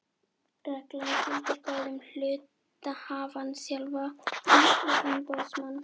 Reglan gildir bæði um hluthafann sjálfan og umboðsmann hans.